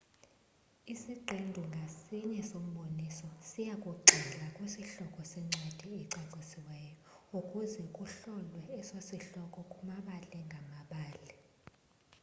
isiqendu ngasinye somboniso siyakugxila kwisihloko sencwadi ecacisiweyo ukuze kuhlolwe eso sihloko kumabali ngamabali